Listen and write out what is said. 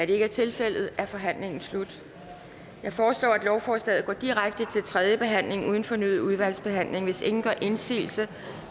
det ikke er tilfældet er forhandlingen slut jeg foreslår at lovforslaget går direkte til tredje behandling uden fornyet udvalgsbehandling hvis ingen gør indsigelse